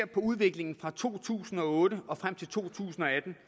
på udviklingen fra to tusind og otte og frem til to tusind og atten